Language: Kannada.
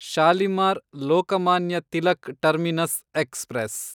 Shalimar Lokmanya Tilak terminus express